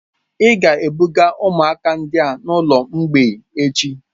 Ị ga-ebuga ụmụaka ndị a n'ụlọ mgbei echi.